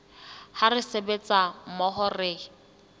ha re sebetsa mmoho re